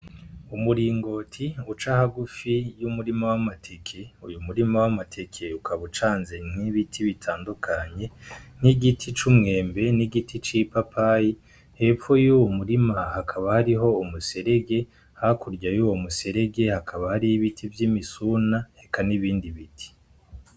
Umuringoti uca hagufi y’umurima w’amateke . Uyo murima w’amateke ukaba ucanze nk’ibiti bitandukanye nk’ibiti c’umwembe ,n’igiti c’ipapayi, hepfo y’uwo murima hakaba hariho umuserege , hakurya y’uwo muserege hakaba hariyo ibiti vy’umusuna eka n’ibindi biti.